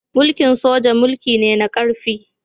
Mulki'n soja mulki ne na karfi.